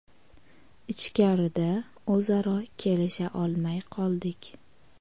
Ichkarida o‘zaro kelisha olmay qoldik.